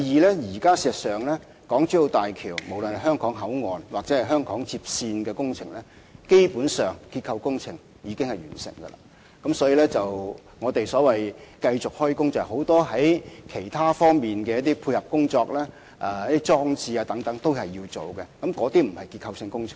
第二，事實上，現時港珠澳大橋香港口岸或香港接線的結構工程，基本上已經完成，所以，我們繼續施工進行很多其他配套工作或裝置工程等，那些不是結構性工程。